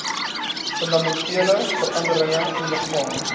fundamentele veranderinge ondergaan